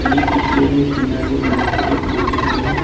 ये पिक्चर में टीना से बना के एक बिल्डिंग है।